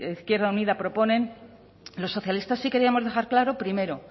izquierda unida proponen los socialistas sí queríamos dejar claro primero